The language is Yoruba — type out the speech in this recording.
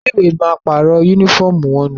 Ilé ìwé náà ma pàrọ̀ yúnífọ̀mù wọnú